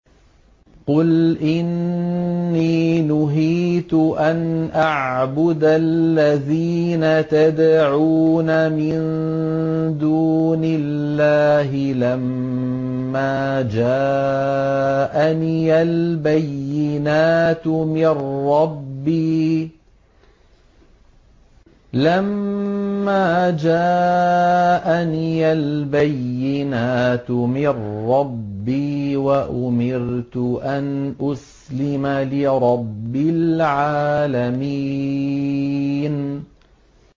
۞ قُلْ إِنِّي نُهِيتُ أَنْ أَعْبُدَ الَّذِينَ تَدْعُونَ مِن دُونِ اللَّهِ لَمَّا جَاءَنِيَ الْبَيِّنَاتُ مِن رَّبِّي وَأُمِرْتُ أَنْ أُسْلِمَ لِرَبِّ الْعَالَمِينَ